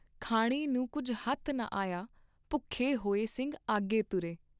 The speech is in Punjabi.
ਖਾਣੇ ਨੂੰ ਕੁੱਝ ਹੱਥ ਨ ਆਯਾ ॥ ਭੁੱਖੇ ਹੋਇ ਸਿੰਘ ਆਗੇ ਤੁਰੇ।